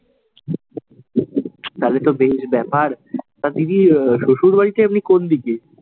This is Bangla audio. তালে তো বেশ ব্যাপার, তা দিদির শ্বশুর বাড়িটা আপনি কোন দিকে?